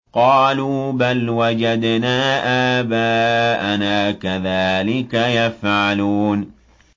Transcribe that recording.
قَالُوا بَلْ وَجَدْنَا آبَاءَنَا كَذَٰلِكَ يَفْعَلُونَ